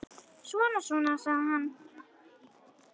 Svona, svona, sagði hann.